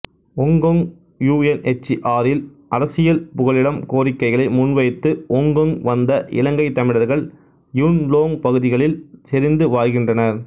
Hong Kong யுஎன்எச்சிஆரில் அரசியல் புகலிடம் கோரிக்கைகளை முன்வைத்து ஒங்கொங் வந்த இலங்கைத் தமிழர்கள் யுன் லோங் பகுதிகளில் செறிந்து வாழ்கின்றனர்